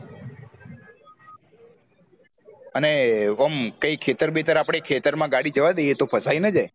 અને ઓમ કયી ખેતર બેતર આપડે ખેતર માં ગાડી જવા દે તો ફસાઈ ન જાય